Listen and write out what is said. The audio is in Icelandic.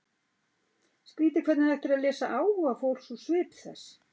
Skrýtið hvernig hægt er að lesa áhuga fólks úr svip þess.